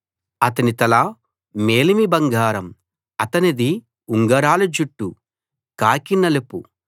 అతని తల మేలిమి బంగారం అతనిది ఉంగరాల జుట్టు కాకి నలుపు